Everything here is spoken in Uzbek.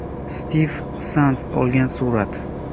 Stiv Sands olgan surat.